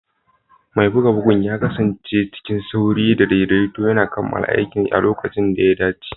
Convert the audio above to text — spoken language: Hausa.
Mai buga bugun ya kasance cikin sauri da daidaito yana kammala aikinsa a lokacin da ya dace.